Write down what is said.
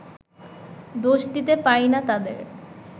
দোষ দিতে পারি না তাঁদের